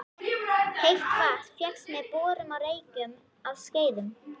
Heitt vatn fékkst með borun á Reykjum á Skeiðum.